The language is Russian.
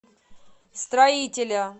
строителя